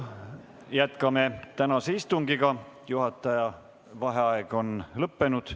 Jätkame tänast istungit, juhataja vaheaeg on lõppenud.